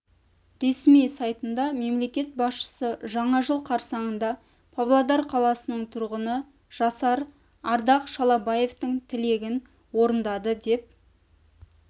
ресми сайтында мемлекет басшысы жаңа жыл қарсаңында павлодар қаласының тұрғыны жасар ардақ шалабаевтың тілегін орындады деп